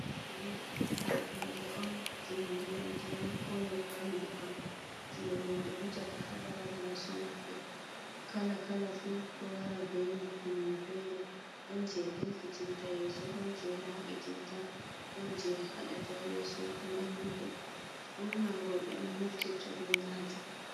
Hun je ndiyam ndiyam ko nyebbam nyebbam. Je roɓe wujata ha laral yeso maɓɓe kala kala fu ɗo wara be nafu mum fere ɗon je ɗelkitinta yeso, ɗon je laɓitinta, ɗon je haɗata yeso naiwugo, urna roɓe on naftirta be majum.